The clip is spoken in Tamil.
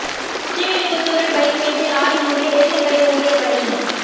ஸ்ரீவில்லிபுத்தூரில் பைக் மீது லாரி மோதி ரேஷன் கடை ஊழியா் பலி